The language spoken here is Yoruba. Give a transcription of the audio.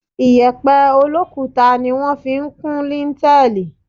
Iyẹ̀pẹ̀ olókuta ni wọ́n fi ń kún líńtẹẹ́lì.